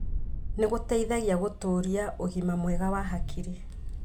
Nĩ gũteithagia gũtũũria ũgima mwega wa hakiri